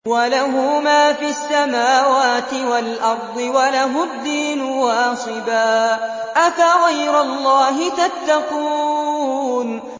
وَلَهُ مَا فِي السَّمَاوَاتِ وَالْأَرْضِ وَلَهُ الدِّينُ وَاصِبًا ۚ أَفَغَيْرَ اللَّهِ تَتَّقُونَ